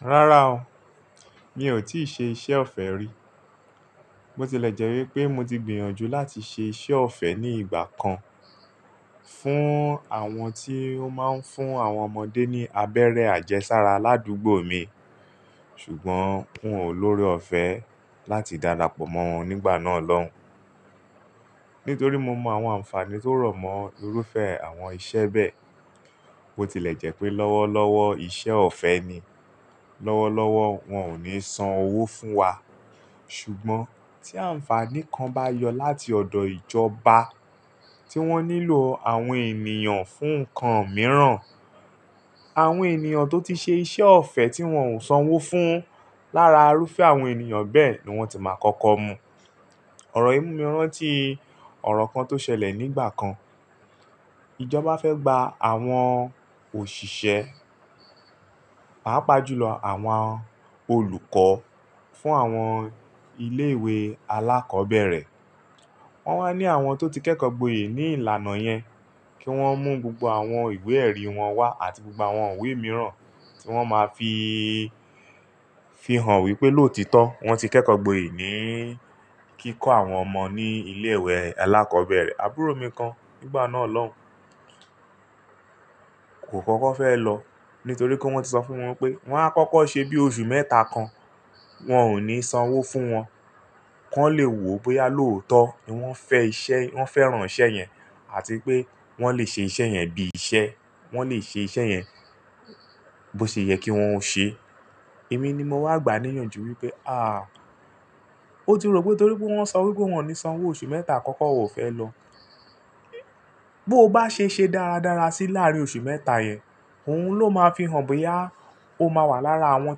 Rárá o, mi ò tí ì ṣe iṣẹ́ ọ̀fẹ́ rí. Mo tilẹ̀ jẹ́ wípé mo ti gbìyànjú láti ṣe iṣẹ́ ọ̀fẹ́ ní ìgbà kan fún àwọn tí ó máa ń fún àwọn ọmọdé ní abẹ́rẹ́ àjẹsára ládùúgbò mi, ṣùgbọ́n hún olórí ọ̀fẹ́ láti darapọ̀ mọ́ wọn nígbà náà lọ́hùn. Nítorí mo mọ àwọn ànfàní tó rọ̀mọ́ irúfẹ́ àwọn iṣẹ́ bẹ́ẹ̀. Bó ti lè jẹ́ pé lọ́wọ́lọ́wọ́ iṣẹ́ ọ̀fẹ́ ni, lọ́wọ́lọ́wọ́ wọn ò ní san owó fún wa. Ṣùgbọ́n tí ànfàní kan bá yọ láti ọ̀dọ̀ ìjọba tí wọ́n nílò àwọn ènìyàn fún nǹkan mìíràn, àwọn ènìyàn tó ti ṣe iṣẹ́ ọ̀fẹ́ tí wọn ò san owó fún lára irúfẹ́ àwọn ènìyàn bẹ́ẹ̀ ni wọ́n ti máa kọ́kọ́ mú. Ọ̀rọ̀ ìmúni mí rán tí ọ̀rọ̀ kan tó ṣẹlẹ̀ nígbà kan. Ìjọba fẹ́ gba àwọn òṣìṣẹ́, pàápàá jùlọ àwọn olùkọ́ fún àwọn ilé ìwé alákọ̀ọ́bẹ̀rẹ̀. Wọ́n wá ní àwọn tó ti kẹ́kọ̀ọ́ gboyè ní ìlànà yẹn kí wọ́n mú gbogbo àwọn ìwé ẹ̀rí wọn wá àti gbogbo àwọn ìwé mìíràn tí wọ́n máa fi hàn wípé lóòtọ́ wọ́n ti kẹ́kọ̀ọ́ gboyè ní kíkọ́ àwọn ọmọ ní ilé ìwé alákọ̀ọ́bẹ̀rẹ̀. Àbúrò mi kan nígbà náà lọ́hùn kò kọ́kọ́ fẹ́ lọ nítorí pé wọ́n ti sọ fún wọn pé wọ́n á kọ́kọ́ ṣe bí oṣù mẹ́ta kan, wọn ò ní san owó fún wọn. Kọ́ le wò ó pé a lóòótọ́ ni wọ́n fẹ́ran iṣẹ́ yẹn àti pé wọ́n lè ṣe iṣẹ́ yẹn bí iṣẹ́, wọ́n lè ṣe iṣẹ́ yẹn bó ṣe yẹ kí wọ́n ó ṣe. Èmi ni mo wá gbà á níyànjú wípé àh! Ó ti rò pé nítorí wọ́n sọ wípé wọn ò ní san owó oṣù mẹ́ta àkọ́kọ́, ò fẹ́ lọ. Bí ó bá ṣe ṣe dáradára sí láàrín oṣù mẹ́ta yẹn, òun ló máa fi hàn bóyá ó máa wà lára àwọn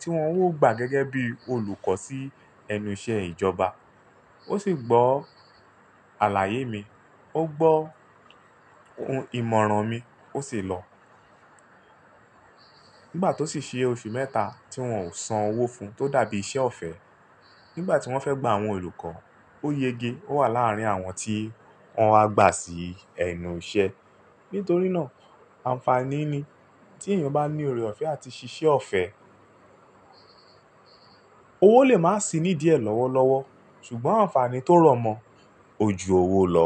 tí wọn ó gbà gẹ́gẹ́ bí olùkọ́ sí ẹnu iṣẹ́ ìjọba. Ó sì gbọ́ àlàyé mi, ó gbọ́ ìmọ̀ràn mi, ó sì lọ. Nígbà tó sì ṣe oṣù mẹ́ta tí wọn ò san owó fún tó dàbí iṣẹ́ ọ̀fẹ́, nígbà tí wọ́n fẹ́ gba àwọn olùkọ́, ó yege. Ó wà láàrín àwọn tí wọ́n á gbà sí ẹnu iṣẹ́. Nítorí náà ànfàní ni tí ènìyàn bá ní ore ọ̀fẹ́ àti ṣíṣe ọ̀fẹ́. Owó lè má sì ní díẹ̀ lọ́wọ́lọ́wọ́, ṣùgbọ́n ànfàní tó rọ̀mọ́, ó ju òwò lọ.